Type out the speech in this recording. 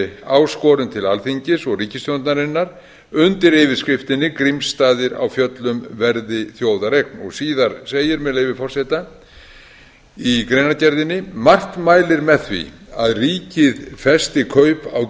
áskorun til alþingis og ríkisstjórnarinnar undir yfirskriftinni grímsstaðir á fjöllum verði þjóðareign síðar segir með leyfi forseta í greinargerðinni margt mælir með því að ríkið festi kaup á